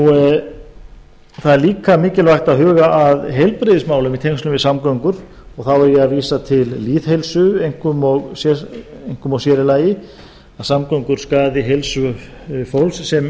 það er líka mikilvægt að huga að heilbrigðismálum í tengslum við samgöngu og þá er ég að vísa til lýðheilsu og einkum og sér í lagi að samgöngur skaði heilsu fólks sem